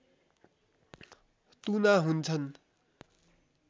तुना हुन्छन्